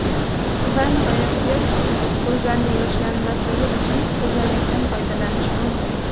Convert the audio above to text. Va nihoyat, piyoz ko‘zlarni yoshlamasligi uchun ko‘zoynakdan foydalanish mumkin.